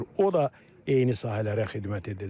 O da eyni sahələrə xidmət edəcək.